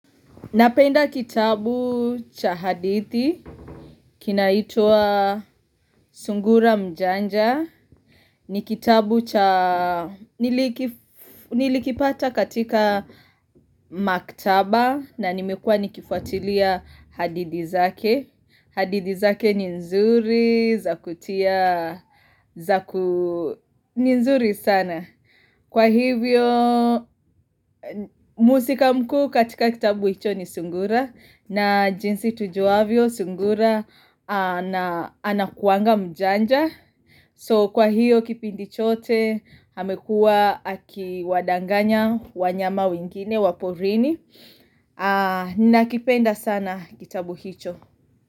Napenda kitabu cha hadithi, kinaitwa sungura mjanja, ni kitabu cha, nilikipata katika maktaba na nimekua nikifuatilia hadidhi zake. Hadidhi zake ni nzuri, za kutia, ni nzuri sana Kwa hivyo, muhusika mkuu katika kitabu hicho ni sungura na jinsi tujuavyo, sungura, anakuanga mjanja So kwa hiyo, kipindi chote, amekua, akiwadanganya, wanyama wengine, wa porini nakipenda sana kitabu hicho.